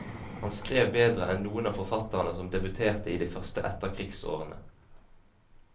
Han skrev bedre enn noen av forfatterne som debuterte i de første etterkrigsårene.